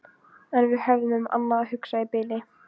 En við höfðum um annað að hugsa í bili.